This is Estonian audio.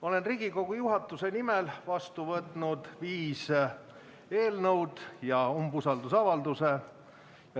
Olen Riigikogu juhatuse nimel vastu võtnud viis eelnõu ja ühe umbusaldusavalduse.